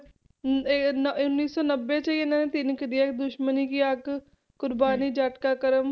ਇਹ ਨ~ ਉੱਨੀ ਸੌ ਨੱਬੇ 'ਚ ਹੀ ਇਹਨਾਂ ਨੇ ਤਿੰਨ ਕੱਢੀਆਂ ਇੱਕ ਦੁਸ਼ਮਣੀ ਕੀ ਆਗ ਕੁਰਬਾਨੀ, ਜੱਟ ਕਾ ਕਰਮ